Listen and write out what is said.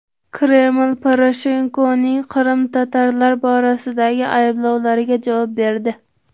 Kreml Poroshenkoning qrim-tatarlar borasidagi ayblovlariga javob berdi.